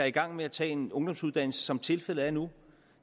i gang med at tage en ungdomsuddannelse som tilfældet er nu